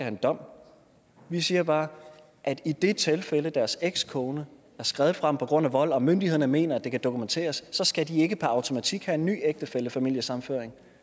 en dom vi siger bare at i det tilfælde deres ekskone er skredet fra dem på grund af vold og myndighederne mener det kan dokumenteres så skal de ikke per automatik have en ny ægtefællefamiliesammenføring